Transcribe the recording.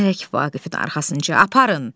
Vaqifi arxasınca aparın.